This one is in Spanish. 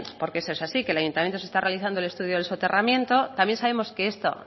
porque eso es así que en el ayuntamiento se está realizando el estudio del soterramiento también sabemos que esto